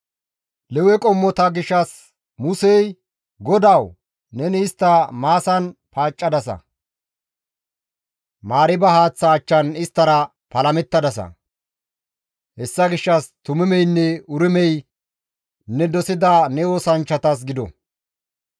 Lewe qommota gishshas Musey, «Godawu! Neni istta Maasan paaccadasa; Mariiba haaththa achchan isttara palamettadasa; hessa gishshas Tumimeynne Urimey ne dosida ne oosanchchatas gido.